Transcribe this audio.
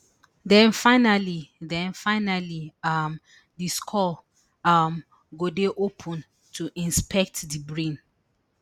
den finally den finally um di skull um go dey opened to inspect di brain